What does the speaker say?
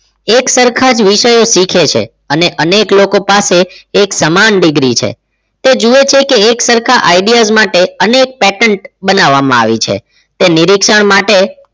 એક સરખા જ વિષયો શીખે છે અને અનેક લોકો પાસે એક સમાન degree છે તે જુએ છે કે એક સરખા ideas માટે અનેક pattern બનાવવામાં આવી છે તે નિરીક્ષણ માટે